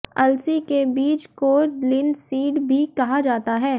अलसी के बीज को लिनसीड भी कहा जाता है